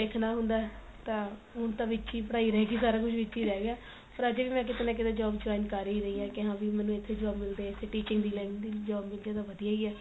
ਦੇਖਣਾ ਹੁੰਦਾ ਤਾਂ ਹੁਣ ਤਾਂ ਕੀ ਪੜਾਈ ਰਹਿ ਗਈ ਸਾਰਾ ਕੁੱਝ ਵਿੱਚ ਈ ਰਹਿ ਗਿਆ ਪਰ ਅਜੇ ਵੀ ਮੈਂ ਕੀਤੇ ਨਾ ਕੀਤੇ job join ਕ਼ਰ ਹੀ ਰਹੀ ਹਾਂ ਕੇ ਹਾਂ ਵੀ ਮੈਨੂੰ ਇੱਥੇ job ਮਿਲ ਜੇ ਇੱਥੇ teaching ਦੀ line ਦੀ job ਮਿਲਜੇ ਤਾਂ ਵਧੀਆ ਈ ਏ